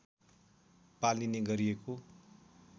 पालिने गरिएको